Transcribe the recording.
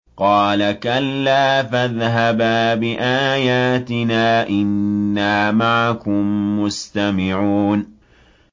قَالَ كَلَّا ۖ فَاذْهَبَا بِآيَاتِنَا ۖ إِنَّا مَعَكُم مُّسْتَمِعُونَ